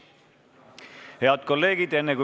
Head kolleegid!